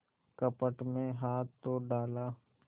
कपट में हाथ तो डाला